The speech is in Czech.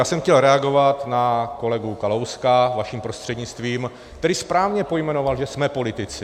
Já jsem chtěl reagovat na kolegu Kalouska vaším prostřednictvím, který správně pojmenoval, že jsme politici.